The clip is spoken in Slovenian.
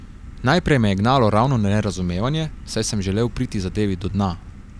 Naprej me je gnalo ravno nerazumevanje, saj sem želel priti zadevi do dna.